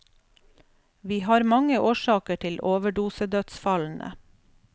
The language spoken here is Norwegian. Vi har mange årsaker til overdosedødsfallene.